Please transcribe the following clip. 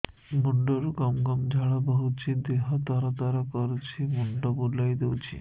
ମୁଣ୍ଡରୁ ଗମ ଗମ ଝାଳ ବହୁଛି ଦିହ ତର ତର କରୁଛି ମୁଣ୍ଡ ବୁଲାଇ ଦେଉଛି